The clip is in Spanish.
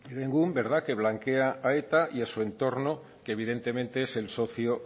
herenegun que blanquea a eta y a su entorno que evidentemente es el socio